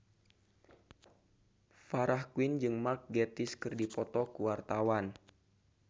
Farah Quinn jeung Mark Gatiss keur dipoto ku wartawan